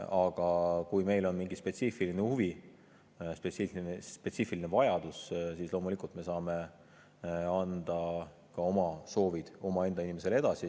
Aga kui meil on mingi spetsiifiline huvi, spetsiifiline vajadus, siis me saame loomulikult anda ka oma soovid oma inimesele edasi.